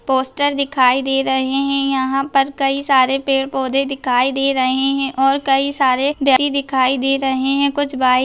poster दिखाई दे रहे है यहाँ पर कई सारे पेड़ -पौधे दिखाई दे रहे हैं और कई सारे व्यक्ति दिखाई दे रहे हैं कुछ बाइक --